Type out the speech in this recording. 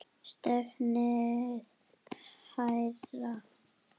Stefnið hærra.